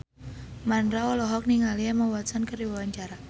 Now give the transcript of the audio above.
Mandra olohok ningali Emma Watson keur diwawancara